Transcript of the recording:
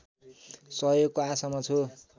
सहयोगको आशामा छु